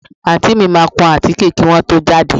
Àǹtí mi máa kún àtíké kí wọ́n tó jáde